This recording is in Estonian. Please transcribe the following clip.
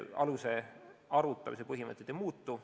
Aluse arvutamise põhimõtted ei muutu.